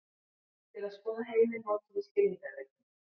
Til að skoða heiminn notum við skilningarvitin.